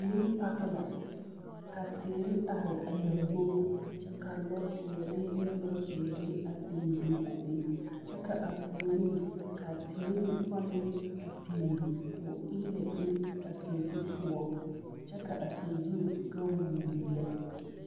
Pileni paki la ka teere are a lambobo ka lɔɔpeɛle ne lɔɔzeere a biŋ biŋ a be kyɛ k,a puoriŋ k,a pileni pɔlee a biŋe k,o eelɛ be a sazu poɔ kyɛ ka a saxu gaŋ wooo lɛ.